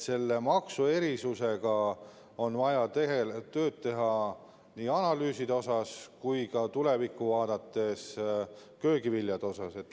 Selle maksuerisusega on vaja tööd teha ja analüüsida seda tulevikku vaadates ka köögiviljade kohapealt.